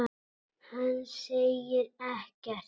Hann segir ekkert.